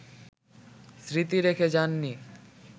স্মৃতি রেখে যান নি